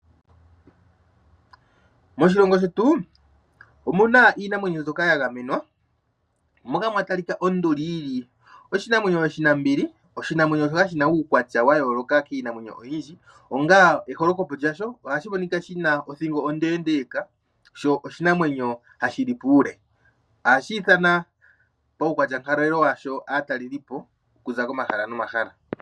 Moshilongo shetu, omuna iinamwenyo mbyoka ya gamemwa, moka kwatalika onduli yili oshinamwenyo oshinambili, oshinamwenyo shoka shina uukwatya wa yooloka kiinamwenyo oyindji. Eholokopo lyasho ohashi monika shina othingo onde sho oshinamwenyo hashi li puule. Molwa uukwatyankalo washo , ohashi nana aatalelipo okuza komahala nomahala.